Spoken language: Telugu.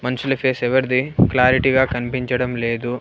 మనుషుల ఫేస్ ఎవరిది క్లారిటీగా కనిపించడం లేదు.